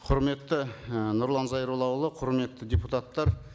құрметті і нұрлан зайроллаұлы құрметті депутаттар